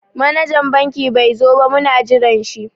Manajan banki bai zo ba muna jiran shi.